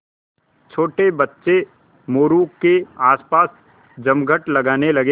छोटे बच्चे मोरू के आसपास जमघट लगाने लगे